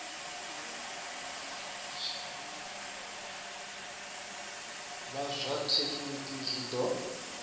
vha zwa thekinini zwi ḓo